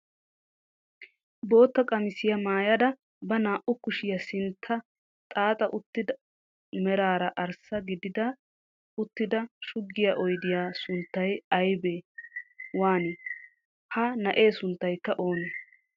Bootta qamisiyaa maayada ba naa"u kushshiyaa sinttan xaaxa uttida meraara arssa gididaara uttido shuggiyaa oydiyaa sunttay ayba waanii? ha na'ee sunttaykka oonee?